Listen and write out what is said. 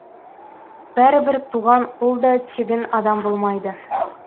бәрібір туған ұл да тегін адам болмайды